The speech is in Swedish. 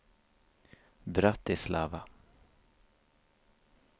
Bratislava